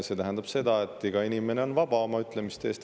See tähendab seda, et iga inimene on vaba oma ütlemistes.